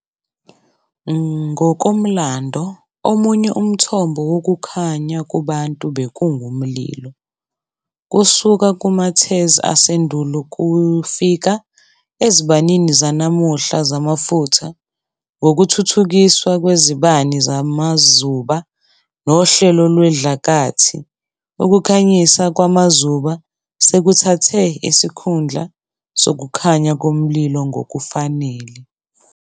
Ngokomlando, omunye umthombo wokukhanya kubantu bekungumlilo, kusuka kumathezi asendulo kufika ezibanini zanamuhla zamafutha. Ngokuthuthukiswa kwezibani zamazuba nohlelo lwesidlakathii, ukukhanyisa ngamazuba sekuthathe isikhundla sokukhanya komlilo ngokufanele.